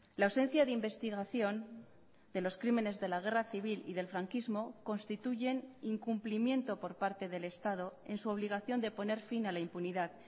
la ausencia de investigación de los crímenes de la guerra civil y del franquismo constituyen incumplimiento por parte del estado en su obligación de poner fin a la impunidad